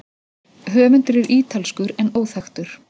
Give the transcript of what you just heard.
Höfundur er ítalskur en óþekktur.